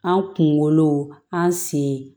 An kunkolo an sen